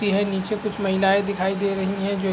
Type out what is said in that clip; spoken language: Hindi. मूर्ति है निचे कुछ महिलाये दिखाई दे रहीं हैं जो --